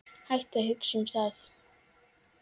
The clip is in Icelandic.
Hættu að hugsa um það.